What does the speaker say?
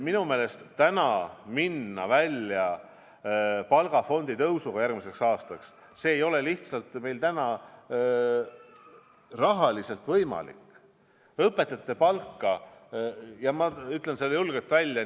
Minu meelest minna praegu välja õpetajate palgafondi tõusule järgmisel aastal ei ole lihtsalt rahaliselt võimalik ja ma ütlen selle julgelt välja.